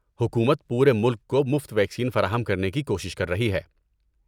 حکومت پورے ملک کو مفت ویکسین فراہم کرنے کی کوشش کر رہی ہے۔